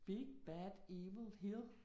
Big bad evil hill